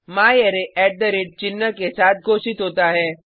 म्यारे चिन्ह के साथ घोषित होता है